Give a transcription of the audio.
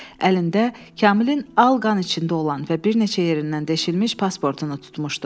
Əlində Kamilin al qan içində olan və bir neçə yerindən deşilmiş pasportunu tutmuşdu.